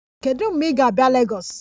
Kedu mgbe ị ga-abịa Lagos?